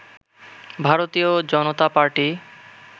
ভারতীয় জনতা পার্টি